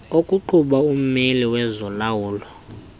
okuqhuba ummeli wezolawulo